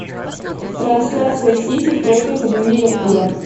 трансляция сити против ливерпуля